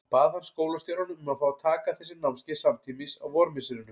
Bað hann skólastjórann um að fá að taka þessi námskeið samtímis á vormisserinu.